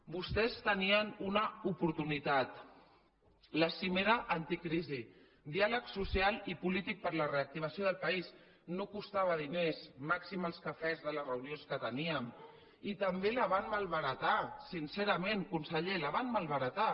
vostès tenien una oportunitat la cimera anticrisi diàleg social i polític per a la reactivació del país no costava diners màxim els cafès de les reunions que teníem i també la van malbaratar sincerament conseller la van malbaratar